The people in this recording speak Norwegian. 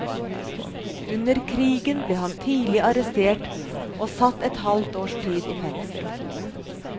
Under krigen ble han tidlig arrestert og satt et halvt års tid i fengsel.